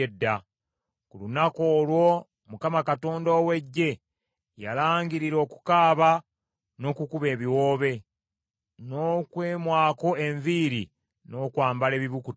Ku lunaku olwo Mukama Katonda ow’Eggye yalangirira okukaaba n’okukuba ebiwoobe, n’okwemwako enviiri n’okwambala ebibukutu.